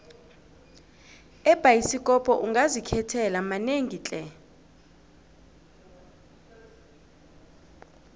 ebhayisikopo ungazikhethela manengi tle